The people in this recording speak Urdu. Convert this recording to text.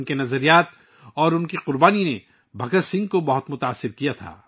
ان کی سوچ اور ان کی قربانی نے بھگت سنگھ کو بہت متاثر کیا